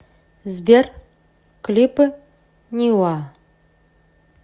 сбер клипы ниуа